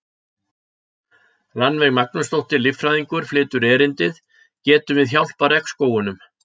Rannveig Magnúsdóttir, líffræðingur, flytur erindið: Getum við hjálpað regnskógunum?